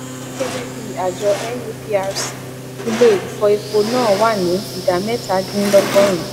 gẹgẹbí àjọ nuprc ilé ìfọ epo náà wá ní idà mẹta dín lógo rùn